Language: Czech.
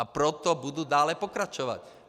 A proto budu dále pokračovat.